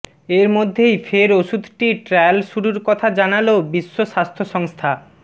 এরমধ্যেই ফের ওষুধটির ট্রায়াল শুরুর কথা জানাল বিশ্ব স্বাস্থ্য সংস্থা